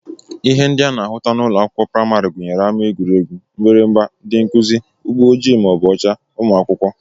Ihe ndị a na-ahụta n'ụlọakwụkwọ praịmarị gụnyere ama egwuregwu, mgbịrịgba, ndị nkụzi, ụgbọ ojii/ọcha, ụmụ akwụkwọ